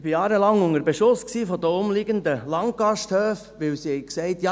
Ich war jahrelang unter Beschuss von den umliegenden Landgasthöfen, weil sie gesagt haben: